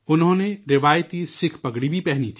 انہوں نے روایتی سکھ پگڑی بھی پہنی